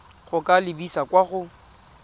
go ka lebisa kwa go